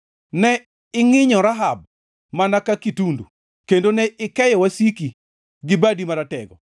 Ne ingʼinyo Rahab mana ka kitundu, kendo ne ikeyo wasiki gi badi maratego.